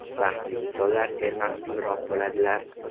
Baxtli insonlar sermahsulroq bo‘ladilar.